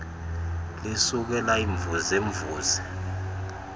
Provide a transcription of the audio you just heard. lisuke layimvuze mvuze